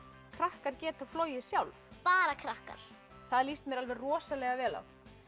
krakkar geta flogið sjálf bara krakkar það líst mér rosalega vel á